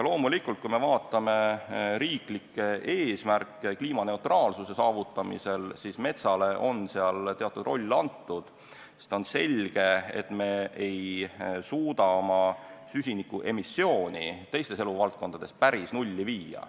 Kui me vaatame riiklikke eesmärke kliimaneutraalsuse saavutamisel, siis loomulikult on seal metsale antud teatud roll, sest on selge, et me ei suuda süsinikuemissiooni teistes eluvaldkondades päris nulli viia.